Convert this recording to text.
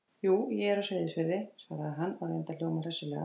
Jú, ég er á Seyðisfirði- svaraði hann og reyndi að hljóma hressilega.